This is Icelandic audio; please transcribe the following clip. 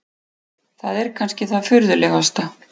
Það er kannski það furðulegasta.